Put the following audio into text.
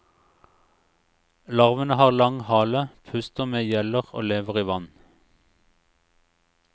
Larvene har lang hale, puster med gjeller og lever i vann.